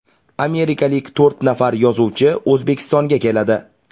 Amerikalik to‘rt nafar yozuvchi O‘zbekistonga keladi.